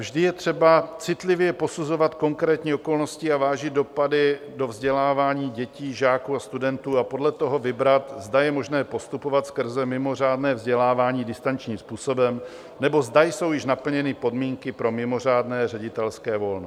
Vždy je třeba citlivě posuzovat konkrétní okolnosti a vážit dopady do vzdělávání dětí, žáků a studentů a podle toho vybrat, zda je možné postupovat skrze mimořádné vzdělávání distančním způsobem, nebo zda jsou již naplněny podmínky pro mimořádné ředitelské volno.